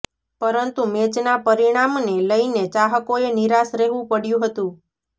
પરંતુ મેચના પરિણામને લઇને ચાહકોએ નિરાશ રહેવુ પડ્યુ હતુ